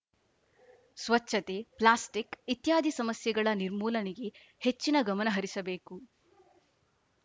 ಸ್ವಚ್ಛತೆ ಪ್ಲಾಸ್ಟಿಕ್‌ ಇತ್ಯಾದಿ ಸಮಸ್ಯೆಗಳ ನಿರ್ಮೂಲನೆಗೆ ಹೆಚ್ಚಿನ ಗಮನ ಹರಿಸಬೇಕು